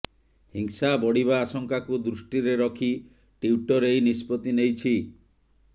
ହିଂସା ବଢ଼ିବା ଆଶଙ୍କାକୁ ଦୃଷ୍ଟିରେ ରଖି ଟ୍ୱିଟର ଏହି ନିଷ୍ପତ୍ତି ନେଇଛି